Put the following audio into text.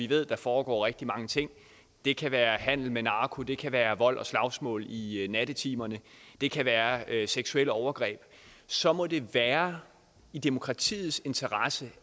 ved der foregår rigtig mange ting det kan være handel med narko det kan være vold og slagsmål i i nattetimerne det kan være seksuelle overgreb så må det være i demokratiets interesse